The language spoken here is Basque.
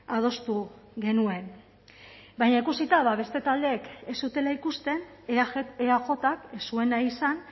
adostu genuen baina ikusita beste taldeek ez zutela ikusten eajk ez zuen nahi izan